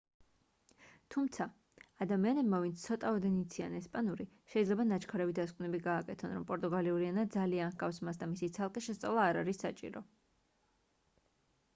თუმცა ადამიანებმა ვინც ცოტაოდენ იციან ესპანური შეიძლება ნაჩქარევი დასკვნები გააკეთონ რომ პორტუგალიური ენა ძალიან ჰგავს მას და მისი ცალკე შესწავლა არ არის საჭირო